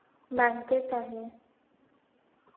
bank त आहे